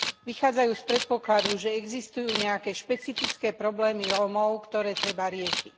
Vychádzajú z predpokladu, že existujú nejaké špecifické problémy Rómov, ktoré treba riešiť.